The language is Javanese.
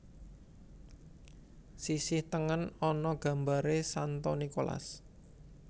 Sisih tengen ana gambaré Santo Nikolas